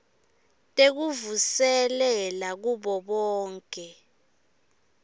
tekuvuselela kubo bonkhe